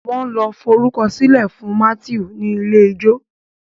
wan ló forukọsilẹ fún Matthew ní ilé-ìwé ijó